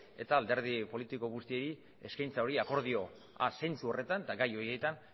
eta alderdi politiko guztiei eskaintza hori akordioa zentzu horretan eta gai horietan